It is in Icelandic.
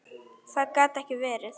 Það gat ekki verið.